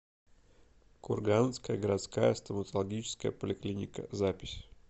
курганская городская стоматологическая поликлиника запись